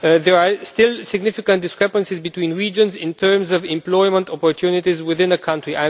There are still significant discrepancies between regions in terms of employment opportunities within a country.